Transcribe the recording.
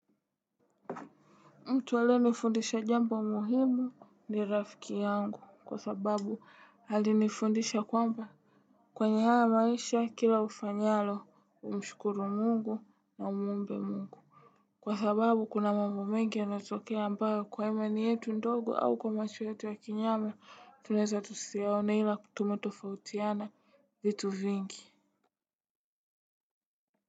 Mtu aliyenifundisha jambo muhimu ni rafiki yangu kwa sababu alinifundisha kwamba. Kwenye haya maisha kila ufanyalo umshukuru mungu na umuombe mungu. Kwa sababu kuna mambo mengi yanatokea ambayo kwa imani yetu ndogo au kwa macho yetu ya kinyama tunaeza tusiyaone ila ku tume tofautiana vitu vingi.